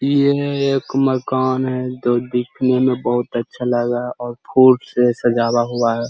इ इने एक मकान है जो दिखने में बहुत अच्छा लगा और फूल से सजावा हुआ है।